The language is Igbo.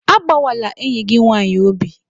Agbawala enyi gị nwanyị obi!